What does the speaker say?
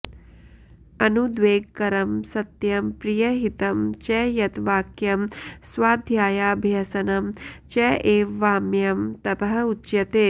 अनुद्वेगकरं सत्यं प्रियहितं च यत् वाक्यं स्वाध्यायाभ्यसनं च एव वाङ्मयं तपः उच्यते